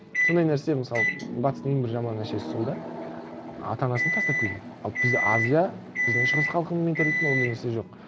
сондай нәрсе мысалы батыстың ең бір жаман нәрсесі сол да ата анасын тастап кетеді ал біз азия біздің шығыс халқының менталитетінде ондай нәрсе жоқ